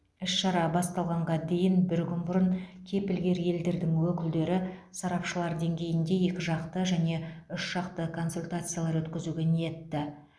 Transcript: іс шара басталғанға дейін бір күн бұрын кепілгер елдердің өкілдері сарапшылар деңгейінде екі жақты және үш жақты консультациялар өткізуге ниетті